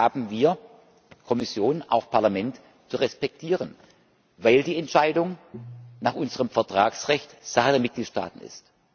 Dies haben wir Kommission, auch Parlament zu respektieren, weil die Entscheidung nach unserem Vertragsrecht Sache der Mitgliedstaaten ist.